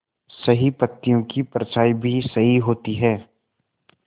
सही पत्तियों की परछाईं भी सही होती है